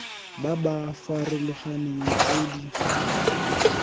ba ba farologaneng tse di